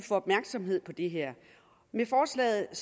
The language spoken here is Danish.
opmærksomhed på det her med forslaget er